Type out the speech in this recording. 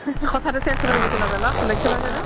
কথা তো change কৰি দিছে লগা লগ লক্শ্য কৰিছ ন